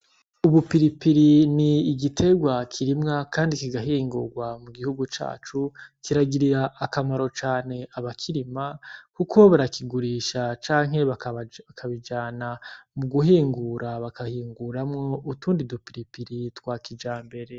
Ubupiripiri ni igiterwa kirimwa, kandi kigahingurwa mu gihugu cacu kiragirira akamaro cane aba kirima, kuko o barakigurisha canke aakabijana mu guhingura bakahinguramwo utundi dupiripiri twa kija mbere.